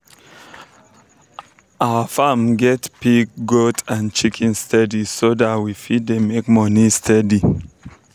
our farm get pig goat and chicken steady so that we fit dey make moni steady